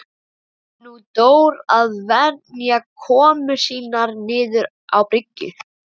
Tók nú Dór að venja komur sínar niður á bryggju.